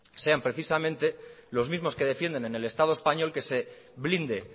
sean precisamente los mismos que defienden en el estado español que se blinde